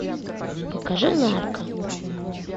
покажи нарко